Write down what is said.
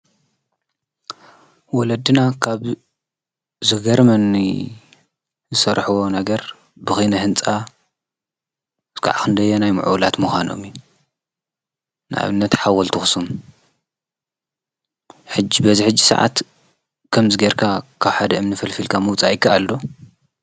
ወለድና ካብዝገርመኒ ዝሠርሕዎ ነገር ብኺነ ሕንፃ ዝዓኽንደየ ናይ ምእላት ምዃኖሚ ናብነት ሓወልቲ ኣክሱም ሕጅ በዝ ሕጅ ሰዓት ከም ዝጌርካ ካብሓደ እምኒ ፍል ፊልካ መውጻኢካ ኣሎ።